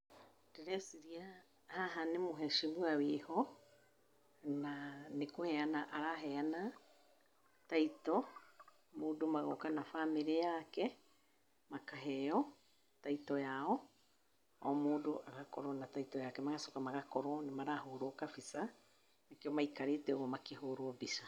Ndĩreciria haha nĩ mheshimiwa wĩ ho, na nĩ kũheana araheana taito. Mũndũ magooka na bamĩrĩ yake makaheo taito yao, o mũndũ agakorwo na taito yake. Magacoka magakorwo nĩ marahũrwo kabica nĩkĩo maikarĩte ũguo makĩhũrwo mbica.